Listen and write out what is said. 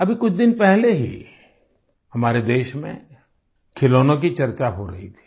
अभी कुछ दिन पहले ही हमारे देश में खिलौनों की चर्चा हो रही थी